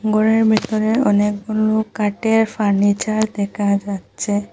ঘরের ভিতরে অনেকগুলো কাঠের ফার্নিচার দেখা যাচ্ছে।